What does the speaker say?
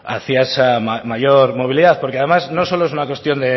hacia esa mayor movilidad porque además no solo es una cuestión